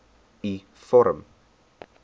u vorm